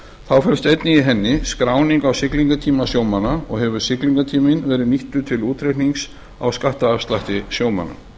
þá felst einnig í henni skráning á siglingatíma sjómanna og hefur siglingatíminn verið nýttur til útreiknings á skattafslætti sjómanna